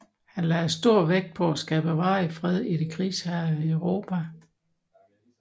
Han lagde stor vægt på at skabe varig fred i det krigshærgede Europa